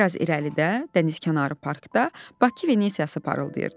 Bir az irəlidə dənizkənarı parkda Bakı Venesiyası parıldayırdı.